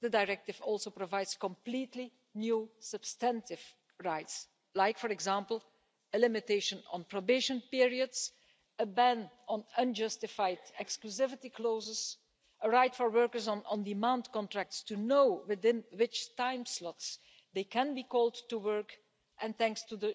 The directive also provides completely new substantive rights, like, for example, a limitation on probation periods, a ban on unjustified exclusivity clauses, a right for workers on on-demand contracts to know within which time slots they can be called to work and thanks to this